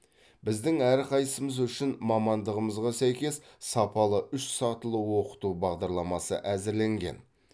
біздің әрқайсымыз үшін мамандығымызға сәйкес сапалы үш сатылы оқыту бағдарламасы әзірленген